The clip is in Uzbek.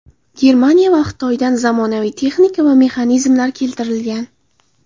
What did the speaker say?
Germaniya va Xitoydan zamonaviy texnika va mexanizmlar keltirilgan.